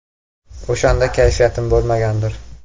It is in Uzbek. O‘shanda kayfiyatim bo‘lmagandir.